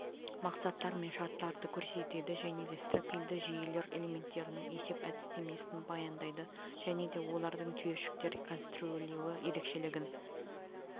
мақсаттар мен шарттарды көрсетеді және де стропильді жүйелер элементтерінің есеп әдістемесін баяндайды және де олардың түйіршіктер конструирлеуі ерекшелігін